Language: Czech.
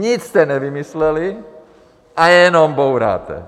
Nic jste nevymysleli a jenom bouráte.